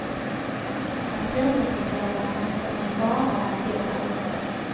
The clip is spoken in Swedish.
Naturintresserad måste man ju vara om man bor här uppe.